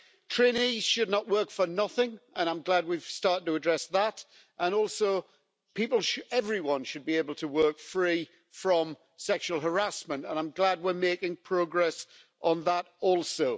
Trainees should not work for nothing, and I'm glad we have started to address that and also everyone should be able to work free from sexual harassment, and I'm glad we're making progress on that also.